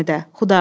Həmidə!